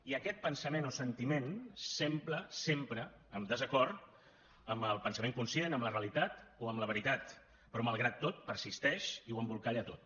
i aquest pensament o sentiment sempre sempre en desacord amb el pensament conscient amb la realitat o amb la veritat però malgrat tot persisteix i ho embolcalla tot